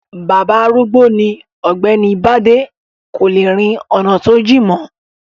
Bàbá arúgbó ni ọ̀gbẹ́ni bádé, kò le rin ọ̀nà tó jìn mọ́.